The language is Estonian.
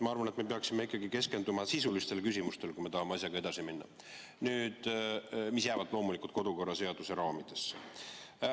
Ma arvan, et me peaksime ikkagi keskenduma sisulistele küsimustele, kui me tahame asjaga edasi minna, aga need küsimused peavad loomulikult jääma kodukorra seaduse raamidesse.